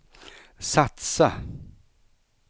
satsa